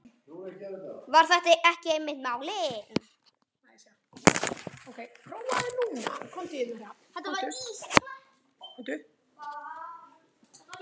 Var þetta ekki einmitt málið?